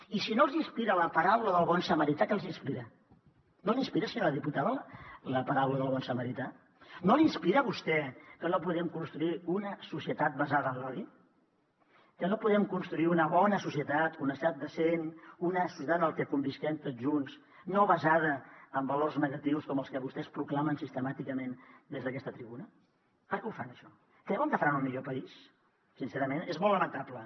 i si no els inspira la paraula del bon samarità què els inspira no li inspira senyora diputada la paraula del bon samarità no li inspira a vostè que no puguem construir una societat basada en l’odi que no puguem construir una bona societat una societat decent una societat en la que convisquem tots junts no basada en valors negatius com els que vostès proclamen sistemàticament des d’aquesta tribuna per què ho fan això creuen que faran un millor país sincerament és molt lamentable